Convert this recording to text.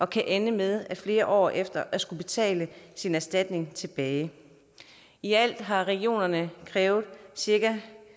kan ende med flere år efter at skulle betale sin erstatning tilbage i alt har regionerne krævet cirka